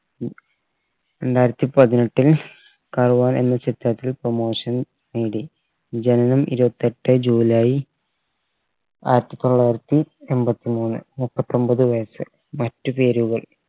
രണ്ടായിരത്തി പതിനെട്ടിൽ കർവാൻ എന്ന ചിത്രത്തിൽ promotion നേടി ജനനം ഇരുവത്തെട്ട് ജൂലൈ ആയിരത്തി തൊള്ളായിരത്തി എമ്പത്തി മൂന്ന് മുപ്പത്തൊമ്പത് വയസ്സ് മറ്റു പേരുകൾ